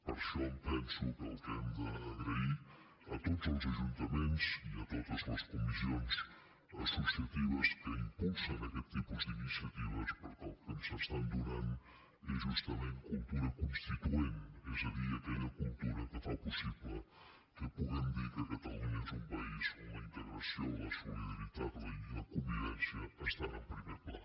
per això em penso que hem donar les gràcies a tots els ajuntaments i a totes les comissions associatives que impulsen aquest tipus d’iniciatives perquè el que ens estan donant és justament cultura constituent és a dir aquella cultura que fa possible que puguem dir que catalunya és un país on la integració la solidaritat i la convivència estan en primer pla